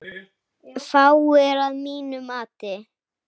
Fáir, að mínu mati.